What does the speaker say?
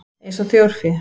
Eins og þjórfé?